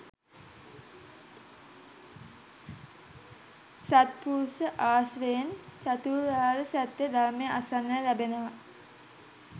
සත්පුරුෂ ආශ්‍රයෙන් චතුරාර්ය සත්‍යය ධර්මය අසන්නට ලැබෙනවා